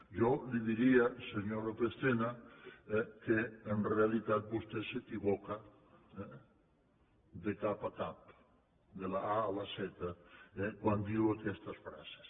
jo li diria senyor lópez tena que en realitat vostè s’equivoca de cap a cap de la a a la zeta quan diu aquestes frases